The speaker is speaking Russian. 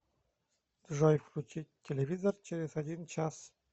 джой включить телевизор через один час